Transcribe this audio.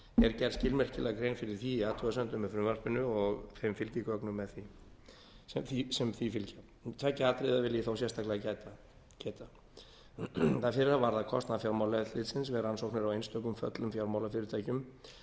er gerð skilmerkilega grein fyrir því í athugasemdum með frumvarpinu og þeim fylgigögnum sem því fylgja tveggja atriða vil ég þó sérstaklega geta það fyrra varðar kostnað fjármálaeftirlitsins við rannsóknir á einstökum föllnum fjármálafyrirtækjum